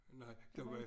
Nej der var øh